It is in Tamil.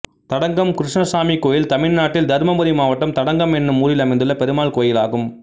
தடங்கம் கிருஷ்ணசாமி கோயில் தமிழ்நாட்டில் தர்மபுரி மாவட்டம் தடங்கம் என்னும் ஊரில் அமைந்துள்ள பெருமாள் கோயிலாகும்